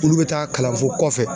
Olu bɛ taa kalan fo kɔfɛ.